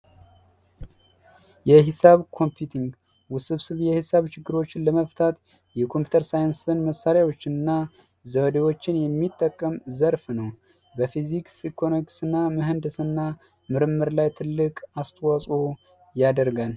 የሂሳብ ኮምፒውተር ውስብስብ የሂሳብ ችግሮችን ለመፍታት የኮምፒዩተር መሣሪያዎችን እና ዘዴዎችን የሚጠቀም ዘርፍ ነው። በፊዚክስ፤ ኢኮኖሚክስና ምህንድስና ምርምር ላይ ትልቅ አስተዋጽኦ ያደርጋል።